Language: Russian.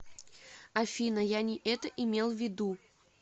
афина я не это имел ввиду